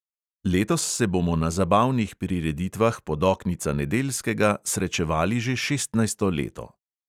Letos se bomo na zabavnih prireditvah podoknica nedeljskega srečevali že šestnajsto leto.